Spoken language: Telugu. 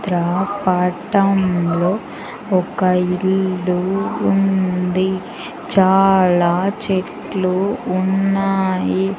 చిత్రపటంలో ఒక ఇల్లు ఉంది చాలా చెట్లు ఉన్నాయి.